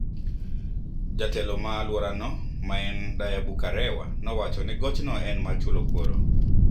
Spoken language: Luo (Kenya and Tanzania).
Jatelo ma alworano ma en Dayyabu Kerawa nowacho ni goch no en mar chulo kuoro